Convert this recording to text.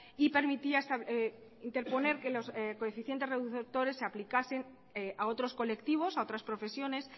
y permitía interponer que los coeficientes reductores se aplicasen a otros colectivos a otras profesiones